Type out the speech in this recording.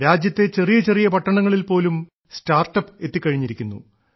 രാജ്യത്തെ ചെറിയ ചെറിയ പട്ടണങ്ങളിൽ പോലും സ്റ്റാർട്ടപ് എത്തിക്കഴിഞ്ഞിരിക്കുന്നു